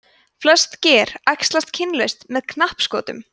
flest ger æxlast kynlaust með knappskotum